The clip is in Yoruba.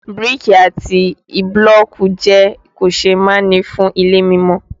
Bíríkì àti bílọ̀kì jẹ́ kòseémánì fún ilé mímọ